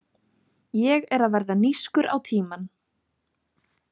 Ég er að verða nískur á tímann.